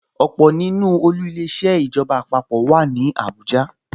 Ọ̀pọ̀ nínú olú Ilé-iṣẹ́ ìjọba àpapọ̀ wà ní Abuja